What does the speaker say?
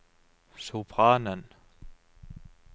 sopranen